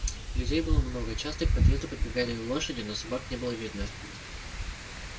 людей было много часто к подъезду подбегали и лошади но собак не было видно